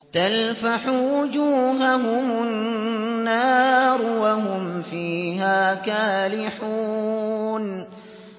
تَلْفَحُ وُجُوهَهُمُ النَّارُ وَهُمْ فِيهَا كَالِحُونَ